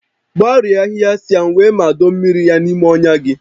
Marie ahịhịa sịam wee mado mmiri ya n'ime ọnya gị